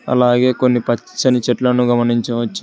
అలాగే కొన్ని పచ్చని చెట్లు గమనించచ్చు.